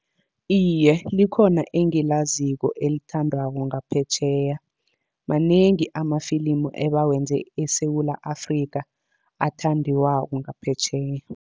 Iye, likhona engilaziko elithandwako ngaphetjheya. Manengi amafilimu ebawenze eSewula Afrikha, athandiwako ngaphetjheya.